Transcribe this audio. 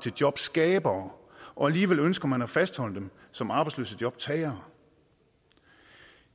til jobskabere og alligevel ønsker man at fastholde dem som arbejdsløse jobtagere